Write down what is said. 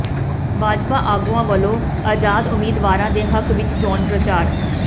ਭਾਜਪਾ ਆਗੂਆਂ ਵੱਲੋਂ ਆਜ਼ਾਦ ਉਮੀਦਵਾਰਾਂ ਦੇ ਹੱਕ ਵਿੱਚ ਚੋਣ ਪ੍ਰਚਾਰ